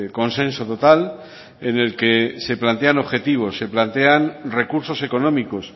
consenso total en el que se plantean objetivos se plantean recursos económicos